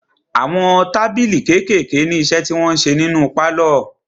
Àwọn tábìlì kékèèké ní iṣẹ́ tí wọn ń ṣe nínu pálọ̀.